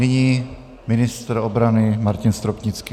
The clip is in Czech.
Nyní ministr obrany Martin Stropnický.